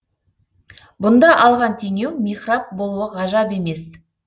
бұнда алған теңеу михраб болуы ғажап емес